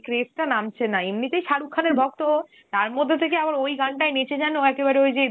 craze টা নামছেনা, এমনিতেই শারুখ খানের ভক্ত ও, তার মধ্যে থেকে আবার ওই গানটায়ে নেচে যেনো একেবারে ওই যে